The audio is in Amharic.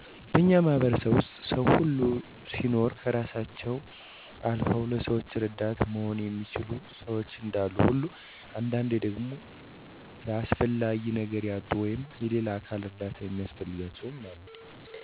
በእኛ ማህበረሰብ ዉስጥ ሰዉ ሁሉ ሲኖር ከእራሳቸዉ አልዉ ለሰዉ እረዳት መሆን የሚችሉ ሸዎች እንዳሉ ሁሉ አንዳንዴ ደግሞ ለአስፈላጊ ነገር ያጡ ወይም <የሌላ አካል እርዳታ የሚያስፈልጋቸዉ>አሉ። እነዚህንም ሰዎች ለመርዳት በጎአድራጊ ድርጅቶች ተቋማት እነዚህን አካል በተለያየ መልኩ ሲያግዙ ይታያሉ። ለምሳሌ፦ መስራት እየቻሉ ስራ ያጡትን የስራ እድል በመፍጠር፣ የሙያ ስልጠናወችን በመስጠት፣ የሞራል ድጋፍ በመስጠት፣ በምግብ ቁሳቁስ በመገደፍ፣ በጉልበት ደካማ የሆኑትን በጉልበት በቁሳቁስ በማገዝ እርዳታቸዉን እናያለን።